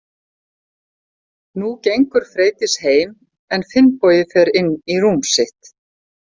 Nú gengur Freydís heim en Finnbogi fer inn í rúm sitt.